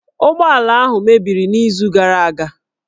Ụgbọala ahụ mebiri n'izu gara aga